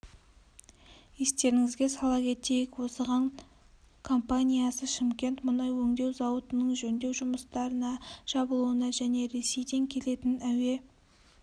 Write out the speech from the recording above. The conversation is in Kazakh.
естеріңізге сала кетейік осыған компаниясы шымкент мұнай өңдеу зауытының жөндеу жұмыстарына жабылуына және ресейден келетін әуе